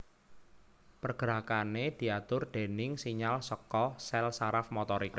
Pergerakané diatur déning sinyal saka sèl saraf motorik